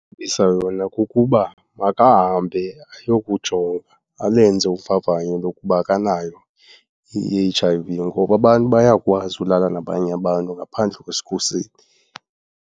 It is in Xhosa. yona kukuba makahambe ayokujonga, alenze uvavanyo lokuba akanayo i-H_I_V ngoba abantu bayakwazi ulala nabanye abantu ngaphandle kwesikhuseli.